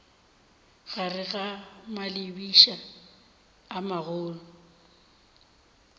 gare ga malebiša a magolo